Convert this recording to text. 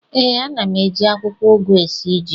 Ee, ana m eji akwụkwọ ugu esi ji